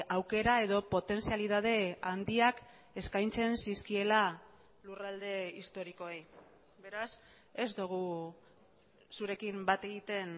aukera edo potentzialitate handiak eskaintzen zizkiela lurralde historikoei beraz ez dugu zurekin bat egiten